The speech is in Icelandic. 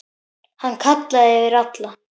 Hann kallaði yfir alla.